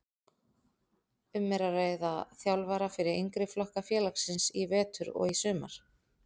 Um er að ræða þjálfara fyrir yngri flokka félagsins í vetur og í sumar.